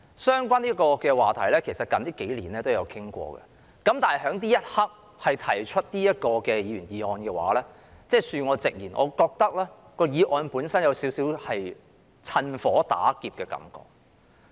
相關話題近數年也曾討論，但此刻提出這項議員議案，恕我直言，我認為議案本身有少許"趁火打劫"的感覺。